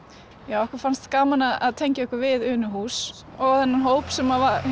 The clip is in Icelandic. okkur fannst gaman að tengja okkur við Unuhús og þennan hóp sem